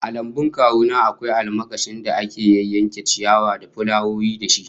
A lambun kawu na akwai almakashin da ake yayyanke ciyawa da fulawoyi da shi